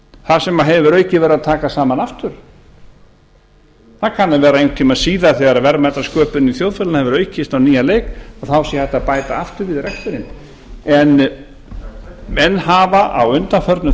þar sem að hefur að auki verið að taka saman aftur það kann að vera einhvern tíma síðar þegar verðmætasköpunin í þjóðfélaginu hefur aukist á nýjan leik þá sé hægt að bæta aftur við reksturinn en menn hafa á undanförnum